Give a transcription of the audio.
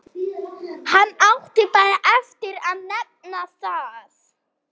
Hann átti bara eftir að nefna það.